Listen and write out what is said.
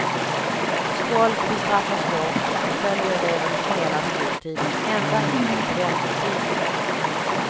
Skolk bestraffas hårt och förföljer eleven hela skoltiden, ända in på studentbetyget.